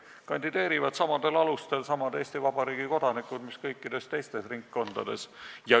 Seal kandideerivad samadel alustel Eesti Vabariigi kodanikud nagu kõikides teistes ringkondades.